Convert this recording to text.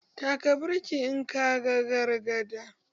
Taka birkin in ka gan gargada!